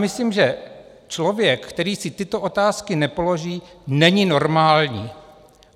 Myslím, že člověk, který si tyto otázky nepoloží, není normální.